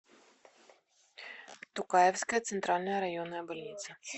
тукаевская центральная районная больница